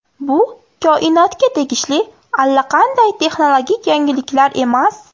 Bu koinotga tegishli allaqanday texnologik yangiliklar emas.